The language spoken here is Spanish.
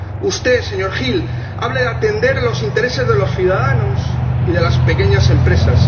Usted, señor Hill, habla de atender los intereses de los ciudadanos y de las pequeñas empresas